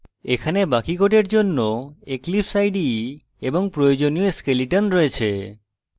এখানে বাকি code জন্য eclipse ide এবং প্রয়োজনীয় skeleton রয়েছে